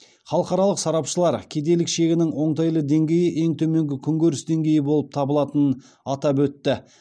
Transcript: халықаралық сарапшылар кедейлік шегінің оңтайлы деңгейі ең төменгі күнкөріс деңгейі болып табылатынын атап өтті